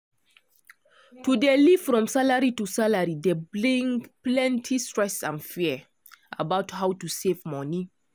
to dey live from salary to salary dey bring plenty stress and fear about how to safe money